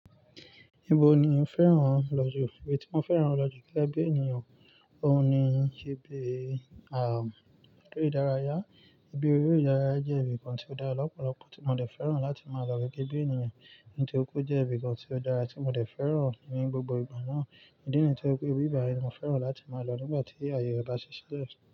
Ibo ni ó fẹ́ràn lọ jù? Ibi tí mo fẹ́ràn lọ jù gege bí ènìyàn, òun ni ibi eré ìdárayá. Ibi eré ìdárayá jẹ́ ibi kan tí ó dára lọ́pọ̀lọpọ̀ tí mo dẹ̀ fẹ́ràn láti máa lọ gẹ́gẹ́ bí ènìyàn. Nítori pe ó jẹ́ ibi kan tí ó dára tí mo dẹ̀ fẹ́ràn ní gbogbo ìgbà náà. Idi niyii to je pé ibí bàyii ni mo fẹ́ràn láti máa lọ nígbà tí àyè re bá ṣilẹ́.